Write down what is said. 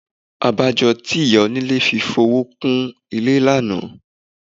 Abájọ tí ìyá onílé fi fowó kún ilé lánàá.